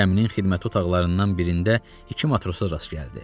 Gəminin xidmət otaqlarından birində iki matrosa rast gəldi.